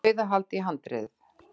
Dauðahald í handriðið.